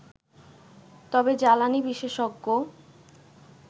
তবে জ্বালানি বিশেষজ্ঞ